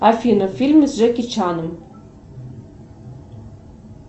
афина фильмы с джеки чаном